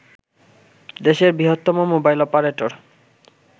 দেশের বৃহত্তম mobile operator